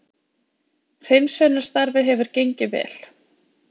Hreinsunarstarfið hefur gengið vel